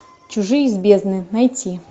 чужие из бездны найти